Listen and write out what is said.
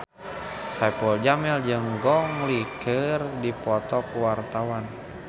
Saipul Jamil jeung Gong Li keur dipoto ku wartawan